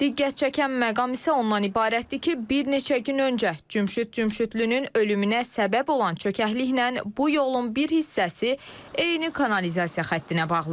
Diqqət çəkən məqam isə ondan ibarətdir ki, bir neçə gün öncə Cümşüd Cümşüdlünün ölümünə səbəb olan çökəkliklə bu yolun bir hissəsi eyni kanalizasiya xəttinə bağlıdır.